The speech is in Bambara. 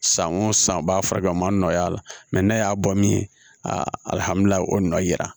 San o san u b'a furakɛ o ma nɔgɔ y'a la mɛ n'a y'a bɔ min ye alihamudulayi o nɔ yira